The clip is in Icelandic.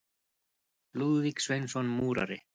Lúðvík Sveinsson múrari.